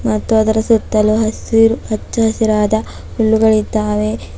ಮತ್ತು ಅದರ ಸುತ್ತಲೂ ಹಸಿರು ಹಚ್ಚ ಹಸಿರಾದ ಹುಲ್ಲುಗಳಿದ್ದಾವೆ.